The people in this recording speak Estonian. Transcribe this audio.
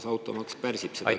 Samas automaks pärsib seda kõike.